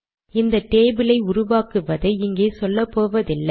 இந்த டேபிளை உருவாக்குவாதை இங்கே சொல்லப்போவதில்லை